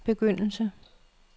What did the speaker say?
begyndelse